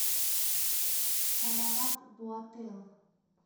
салават буател